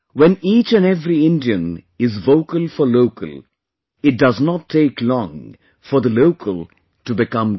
When each and every Indian is vocal for local, it does not take long for the local to become global